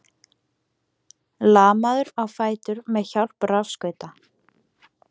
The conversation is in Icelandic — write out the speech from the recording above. Lamaður á fætur með hjálp rafskauta